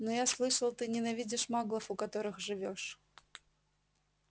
но я слышал ты ненавидишь маглов у которых живёшь